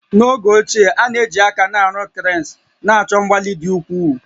N'oge ochie, a na-eji aka na-arụ cranes, na-achọ mgbalị dị ukwuu